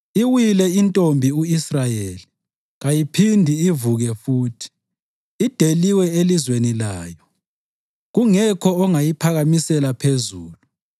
“Iwile iNtombi u-Israyeli, kayiphindi ivuke futhi, ideliwe elizweni layo, kungekho ongayiphakamisela phezulu.”